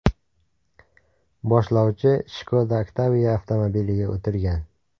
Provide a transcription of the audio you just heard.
Boshlovchi Skoda Octavia avtomobiliga o‘tirgan.